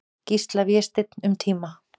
Gísla, Vésteinn, um tíma.